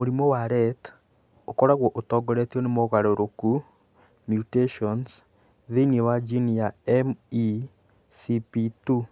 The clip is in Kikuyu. Mũrimũ wa Rett ũkoragwo ũtongoretio nĩ mogarũrũku (mutations) thĩinĩ wa jini ya MECP2.